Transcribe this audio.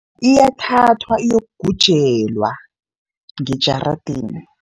Iyathathwa iyokugujelwa ngejaradeni.